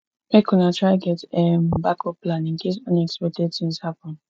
make una dey try get um backup plan incase unexpected tins happen